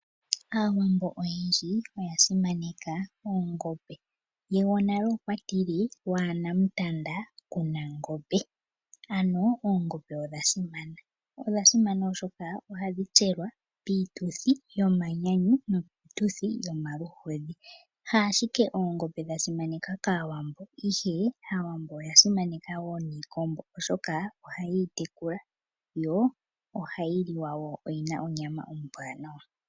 Aawambo oyendji oya simaneka Oongombe, gwonale okwa tile waana mutanda kunangombe. Ano Oongombe odha simana, odha simana oshoka ohadhi tselwa piituthi yo manyanyu niituthi yo maluhodhi. Ha ashike Oongombe dha simanekwa kAawambo ashike Aawambo oya simaneka woo nIikombo oshoka oha yeyi tekula, yo ohayi liwa woo oyina onyama ombwaanawa.